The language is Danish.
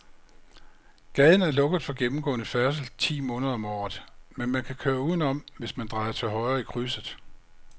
Gaden er lukket for gennemgående færdsel ti måneder om året, men man kan køre udenom, hvis man drejer til højre i krydset.